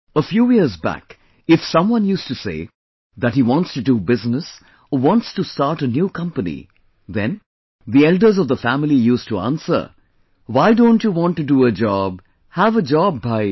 a few years back if someone used to say that he wants to do business or wants to start a new company, then, the elders of the family used to answer that "Why don't you want to do a job, have a job bhai